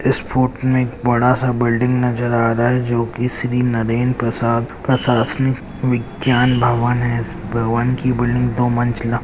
foot में एक बड़ा सा बिल्डिंग नजर आ रहा है जो की श्री नरेन प्रसाद प्रशासनिक विज्ञान भवन है इस भवन की बिल्डिंग दो मंजिला--